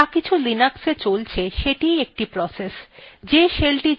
যাকিছু linuxa চলছে সেটিই একটি process